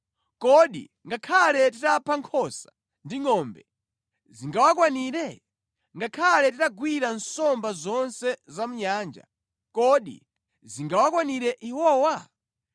Kodi ngakhale titapha nkhosa ndi ngʼombe, zingawakwanire? Ngakhale titagwira nsomba zonse za mʼnyanja, kodi zingawakwanire iwowa?”